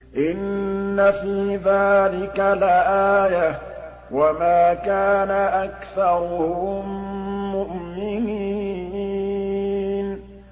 إِنَّ فِي ذَٰلِكَ لَآيَةً ۖ وَمَا كَانَ أَكْثَرُهُم مُّؤْمِنِينَ